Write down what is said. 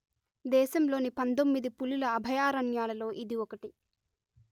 దేశంలోని పందొమ్మిది పులుల అభయారణ్యాలలో ఇది ఒకటి